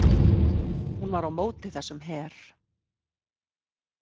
Hún var á móti þessum her.